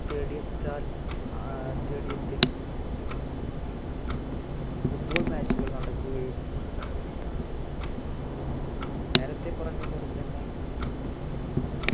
stadium ത്താൽ ആഹ് stadium ത്തിൽ football match കൾ നടുക്കുകയും ഉണ്ടായിരുന്നു നേരത്തെ പറഞ്ഞ പോലെതന്നെ